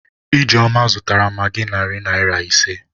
Ijeoma zụtara magị narị naịra ise